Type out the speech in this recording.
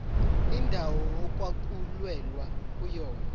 indawo okwakulwelwa kuyona